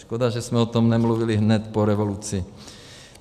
Škoda, že jsme o tom nemluvili hned po revoluci.